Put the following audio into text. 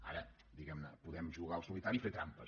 ara diguem ne podem jugar al solitari i fer trampes